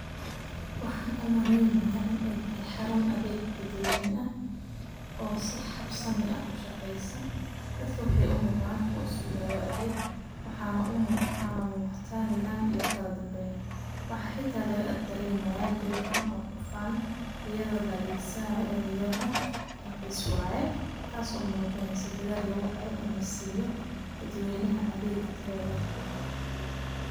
Wxan u maleynihay in aytahay xarun adheg dadwen ah oo si habsamih ah u shaqeysa, dadka wxay u mudan kuwa sugayo atheg wxana muqata nadam iyo kaladamben ,wxa xita lagaagdaremeya jawi furan o xufan iyodo laadegsanayo eriyada raqis waye tas o mujineyso dadal laguhayo inlasiyo dadwenaha adegyo tayoleh.